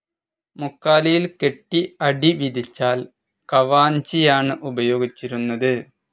മുക്കാലിയിൽ കെട്ടി അടി വിധിച്ചാൽ കവാഞ്ചിയാണ് ഉപയോഗിച്ചിരുന്നത്.